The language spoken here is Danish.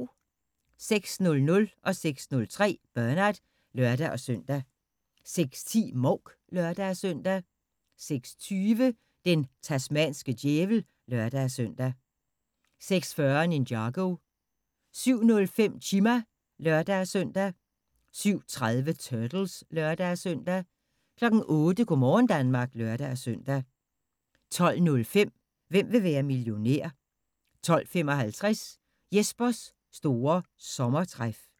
06:00: Bernard (lør-søn) 06:03: Bernard (lør-søn) 06:10: Mouk (lør-søn) 06:20: Den tasmanske djævel (lør-søn) 06:40: Ninjago 07:05: Chima (lør-søn) 07:30: Turtles (lør-søn) 08:00: Go' morgen Danmark (lør-søn) 12:05: Hvem vil være millionær? 12:55: Jespers store sommertræf